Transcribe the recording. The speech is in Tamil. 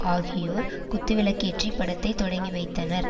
ஆகியோர் குத்துவிளக்கேற்றி படத்தை தொடங்கிவைத்தனர்